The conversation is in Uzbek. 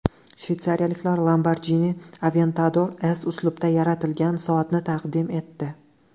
Shveysariyaliklar Lamborghini Aventador S uslubida yaratilgan soatni taqdim etdi.